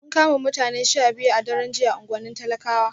An kama mutane 12 a daren jiya a unguwannin talakawa